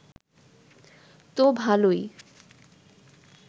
তো ভালোই